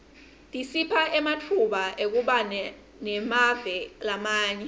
tisipha ematfuba ekubana emave lamanye